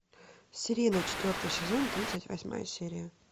сирена четвертый сезон тридцать восьмая серия